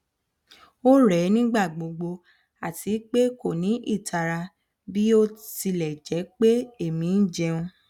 o rẹ nigba gbogbo ati pe ko ni itara bi o tilẹ jẹ pe emi jẹun